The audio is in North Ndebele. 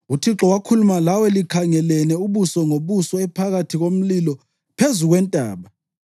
UThixo wakhuluma lawe likhangelene ubuso ngobuso ephakathi komlilo phezu kwentaba.